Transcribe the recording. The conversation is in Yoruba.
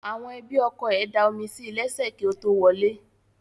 Àwọn ẹbí ọkọ ẹ̀ da omi sí lẹ́sẹ̀ kí ó tó wọlé